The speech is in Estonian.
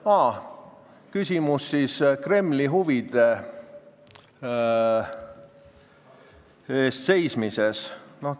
Aa, küsimus Kremli huvide eest seismise kohta.